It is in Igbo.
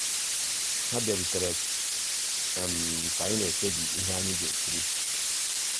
há bìàrùtérè um ká ànyị́ ná-èkpébí íhé um ànyị́ gà-èkírí.